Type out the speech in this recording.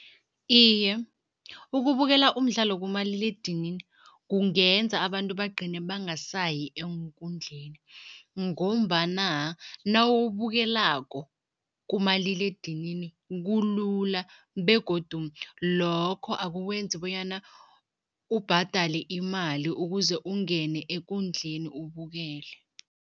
Iye, ukubukela umdlalo kumaliledinini kungenza abantu bagcine bangasayi eenkundleni ngombana nawubukelako kumaliledinini kulula begodu lokho akukwenzi bonyana ubhadale imali ukuze ungene ekundleni ubukele.